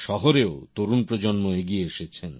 শহরেও তরুণ প্রজন্ম এগিয়ে এসেছেন